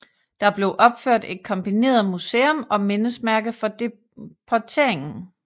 Der blev opført et kombineret museum og mindesmærke for deporteringen